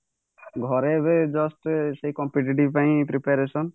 ଘରେ ଏବେ just ସେଇ competitive ପାଇଁ preparation